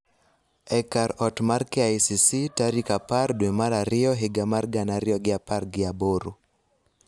e kar ot mar KICC tarik apar dwe mar ariyo higa mar gana ariyo gi apar gi aboro